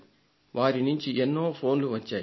వారి వద్ద నుండి ఎన్నో ఫోన్లు వచ్చాయి